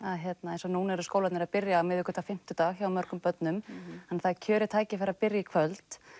eins og núna eru skólarnir að byrja á miðvikudag og fimmtudag hjá mörgum börnum þannig það er kjörið tækifæri að byrja í kvöld